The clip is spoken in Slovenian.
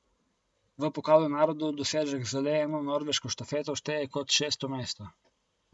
V pokalu narodov dosežek z le eno norveško štafeto šteje kot šesto mesto.